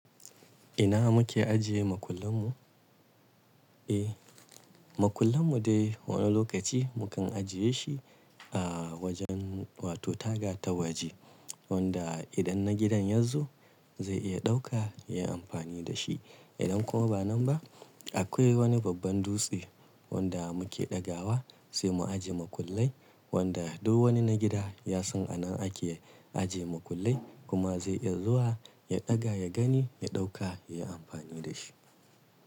Ina muke ajiye makullan mu? Eh, makullan mu dai wani lokaci mu kan ajiye shi a wajen wato taga ta waje wanda idan na gidan yazo zai iya ɗauka yayi amfani da shi. Idan kuma ba nan ba akwai wani babban dutse wanda muke ɗagawa sai mu ajiye makullai wanda duk wani na gida ya san anan ake ajiye makullai kuma zai iya zuwa ya ɗaga ya gani ya ɗauka yayi amfani da shi.